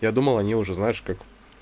я думал они уже знаешь как